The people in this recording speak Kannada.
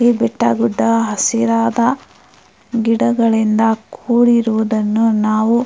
ಈ ಬೆಟ್ಟ ಗುಡ್ಡ ಹಸಿರಾದ ಗಿಡಗಳಿಂದ ಕೂಡಿರುದನ್ನುನಾವು--